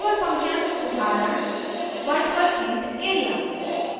virtual function उदाहरण virtual int area